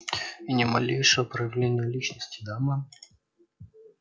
и ни малейшего проявления личности да мэм